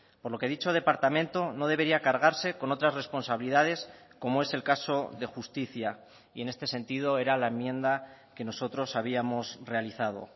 por lo que dicho departamento no debería cargarse con otras responsabilidades como es el caso de justicia y en este sentido era la enmienda que nosotros habíamos realizado